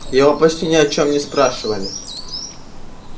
я его почти ни о чем не спрашивали